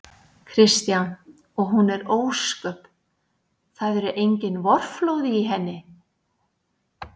Kristján: Og hún er ósköp. það eru engin vorflóð í henni?